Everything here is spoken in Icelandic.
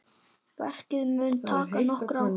Verkið mun taka nokkur ár.